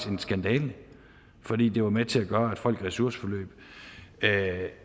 en skandale fordi den var med til at gøre at folk i ressourceforløb